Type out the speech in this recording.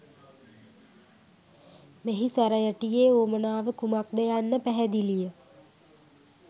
මෙහි සැරයටියේ වුවමනාව කුමක් ද යන්න පැහැදිලිය